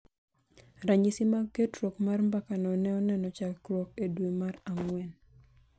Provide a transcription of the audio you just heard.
Ranyisi mag ketruok mar mbakano ne oneno chakruok e dwe mar ang�wen